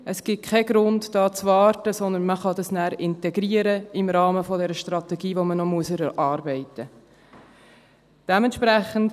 Es gibt keinen Grund, hier zu warten, vielmehr kann man das nachher im Rahmen dieser Strategie integrieren, die man noch erarbeiten muss.